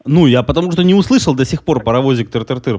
ну я потому что не услышал до сих паровозик тыр-тыр-тыр